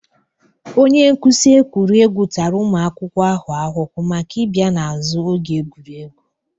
Onye nkuzi egwuregwu tara ụmụ akwụkwọ ahụ ahụhụ maka ịbịa n'azu oge egwuregwu.